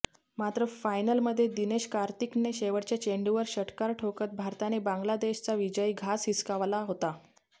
मात्र फायनलमध्ये दिनेश कार्तिकने शेवटच्या चेंडूवर षटकार ठोकत भारताने बांगलादेशचा विजयी घास हिसकावला होता